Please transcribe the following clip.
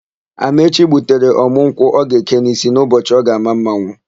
Amaechi gbutere ọ̀mụ́ nkwụ ọ ga-eke n'ísí n'ụbọchị ọ ga-àmá mmanwụ.